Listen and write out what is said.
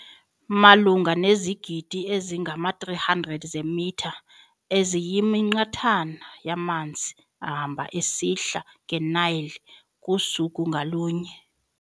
Malunga nezigidi ezingama-300 zeemitha eziyiminqathana yamanzi ehamba esihla nge- Nile kusuku ngalunye.